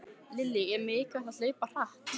Lillý: Er mikilvægt að hlaupa hratt?